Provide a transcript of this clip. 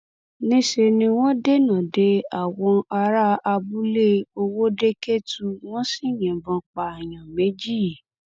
níṣẹ ni wọn dènà de àwọn ará abúlé ọwọdekẹtù wọn sì yìnbọn pààyàn méjì